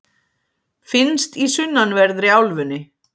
finnst í sunnanverðri álfunni